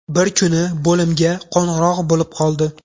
Bir kuni bo‘limga qo‘ng‘iroq bo‘lib qoldi.